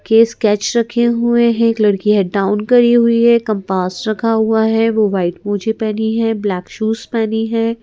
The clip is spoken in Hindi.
के स्केच रखे हुए हैं एक लड़की हेड डाउन करी हुई है कंपास रखा हुआ है वो वाइट मौजे पहनी है ब्लैक शूज पहनी है।